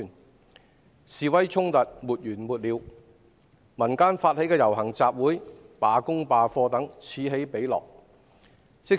社會上的示威衝突沒完沒了，民間發起的遊行集會、罷工罷課等，此起彼落。